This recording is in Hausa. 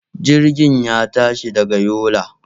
Jirgin ya tashi daga Yola.